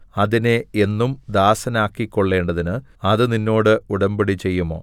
അതിനെ എന്നും ദാസനാക്കിക്കൊള്ളേണ്ടതിന് അത് നിന്നോട് ഉടമ്പടി ചെയ്യുമോ